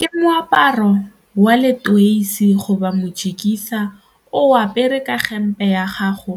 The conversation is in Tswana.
Ke moaparo wa letoisi goba mojikisa o apere ka hempe ya gago